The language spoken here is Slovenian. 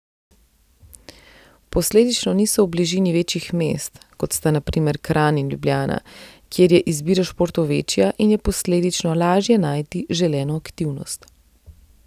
Posledično niso v bližini večjih mest, kot sta na primer Kranj in Ljubljana, kjer je izbira športov večja in je posledično lažje najti želeno aktivnost.